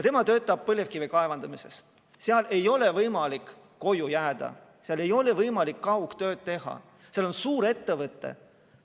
Tema töötab põlevkivikaevanduses, seal ei ole võimalik koju jääda, seal ei ole võimalik kaugtööd teha, seal on suurettevõte.